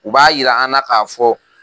U b'a jira an na k'a fɔ